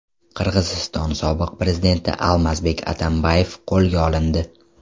Qirg‘iziston sobiq prezidenti Almazbek Atambayev qo‘lga olindi.